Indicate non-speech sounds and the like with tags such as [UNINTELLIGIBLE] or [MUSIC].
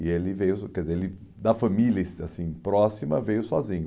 E ele veio... quer dizer, ele da família, [UNINTELLIGIBLE] assim, próxima, veio sozinho.